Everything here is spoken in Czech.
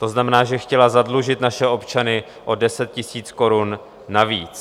To znamená, že chtěla zadlužit naše občany o 10 000 korun navíc.